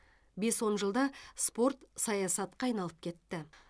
бес он жылда спорт саясатқа айналып кетті